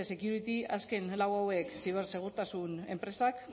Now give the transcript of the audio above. security azken lau hauek zibersegurtasun enpresak